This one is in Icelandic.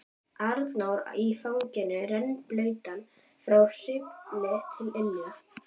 Arnór í fanginu, rennblautan frá hvirfli til ilja.